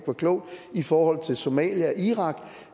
var klogt i forhold til somalia og irak